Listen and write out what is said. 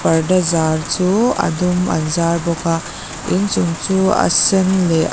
parda zar chu a dum an zar bawk a inchung chu a sen leh a --